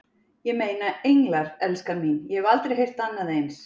Ég meina, englar, elskan mín, ég hef aldrei heyrt annað eins.